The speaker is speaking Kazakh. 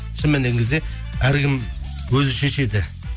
шын мәніне келген кезде әркім өзі шешеді